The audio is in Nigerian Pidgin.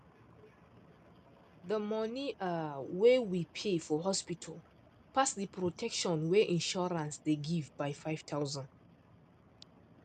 the money um wey we pay for hospital pass the protection wey insurance dey give by 5000